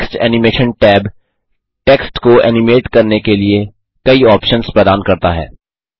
text animation tab text को animate करने के लिए कई ऑप्शन्स प्रदान करता है